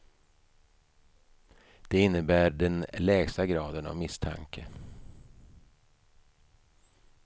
Det innebär den lägsta graden av misstanke.